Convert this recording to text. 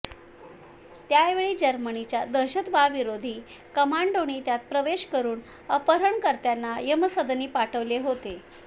त्यावेळी जर्मनीच्या दहशतवाविरोधी कंमाडोंनी त्यात प्रवेश करून अपहरणकर्त्यांना यमसदनी पाठवले होते